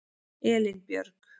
Elínbjörg